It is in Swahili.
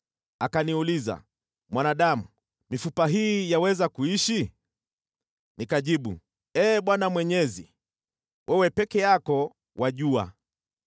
Akaniuliza, “Mwanadamu, mifupa hii yaweza kuishi?” Nikajibu, “Ee Bwana Mwenyezi, wewe peke yako wajua.”